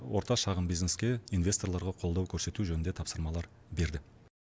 орта шағын бизнеске инвесторларға қолдау көрсету жөнінде тапсырмалар берді